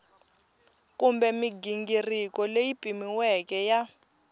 kumbe mighingiriko leyi pimiweke ya